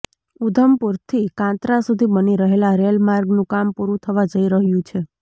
ઉધમપુરથી કાત્રા સુધી બની રહેલા રેલમાર્ગનું કામ પૂરું થવા જઇ રહ્યું છે